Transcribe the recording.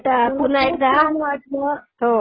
Okay, चला bye बेटा. पुन्हा एकदा हं,